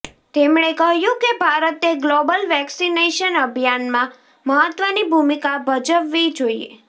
તેમણે કહ્યું કે ભારતે ગ્લોબલ વેક્સિનેશન અભિયાનમાં મહત્વની ભૂમિકા ભજવવી જોઈએ